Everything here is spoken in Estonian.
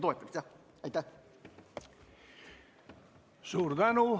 Suur tänu!